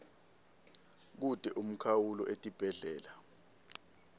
kute umkhawulo etibhedlela